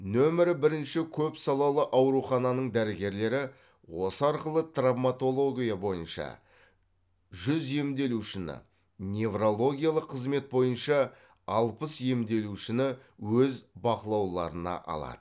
нөмір бірінші көпсалалы аурухананың дәрігерлері осы арқылы травмотология бойынша жүз емделушіні неврологиялық қызмет бойынша алпыс емделушіні өз бақылауларына алады